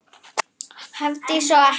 Hafdís og Atli.